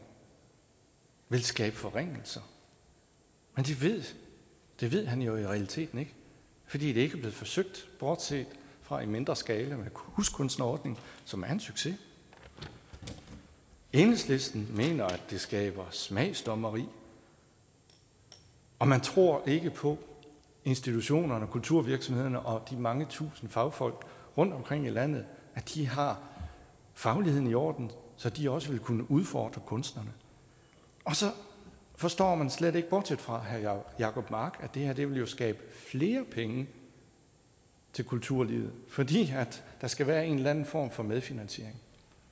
vil skabe forringelser men det ved han jo i realiteten ikke fordi det ikke er blevet forsøgt bortset fra i mindre skala med huskunstnerordningen som er en succes enhedslisten mener at det skaber smagsdommeri og man tror ikke på at institutionerne og kulturvirksomhederne og de mange tusind fagfolk rundtomkring i landet har fagligheden i orden så de også vil kunne udfordre kunsterne og så forstår man slet ikke bortset fra herre jacob mark at det her jo vil skabe flere penge til kulturlivet fordi der skal være en eller anden form for medfinansiering